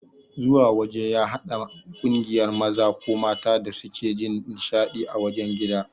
Zuwa waje ya hada kungiyar maza ko mata da suke Jin nishadi ã wajen gida.